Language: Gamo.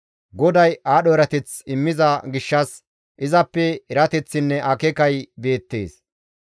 GODAY aadho erateth immiza gishshas izappe erateththinne akeekay beettes.